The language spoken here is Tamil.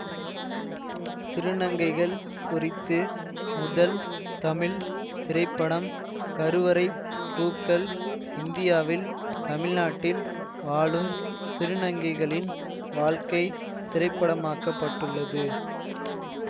திருநங்கைகள் குறித்து முதல் தமிழ் திரைப்படம் கருவறைப் பூக்கள் இந்தியாவில் தமிழ்நாட்டில் வாழும் திருநங்கைகளின் வாழ்க்கை திரைப்படமாக்கப்பட்டுள்ளது